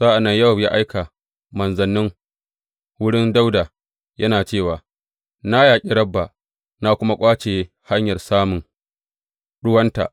Sa’an nan Yowab ya aika manzanni wurin Dawuda yana cewa, Na yaƙi Rabba na kuma ƙwace hanyar samun ruwanta.